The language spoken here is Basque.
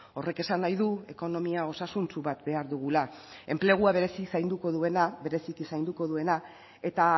horrek esan nahi du ekonomia osasuntsu bat behar dugula enplegua berezi zainduko duena bereziki zainduko duena eta